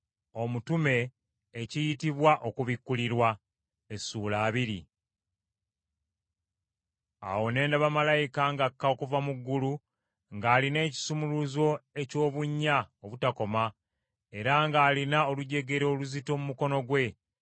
Awo ne ndaba malayika ng’akka okuva mu ggulu ng’alina ekisumuluzo eky’obunnya obutakoma era ng’alina olujegere oluzito mu mukono gwe.